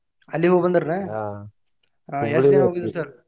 ಅಲ್ಲಿಗೂ ಹೋಗಿ ಬಂದೇರಿ ಎನ್? .